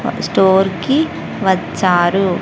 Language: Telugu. స్టోర్ కి వచ్చారు.